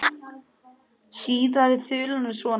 Síðari þulan er svona